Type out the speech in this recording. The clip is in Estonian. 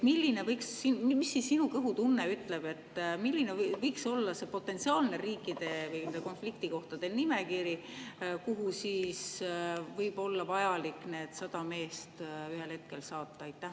Mis sinu kõhutunne ütleb, milline võiks olla see riikide või nende konfliktikohtade potentsiaalne nimekiri, kuhu siis võib olla vaja need 100 meest ühel hetkel saata?